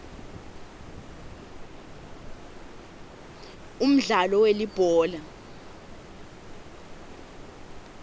umdlalo welibhola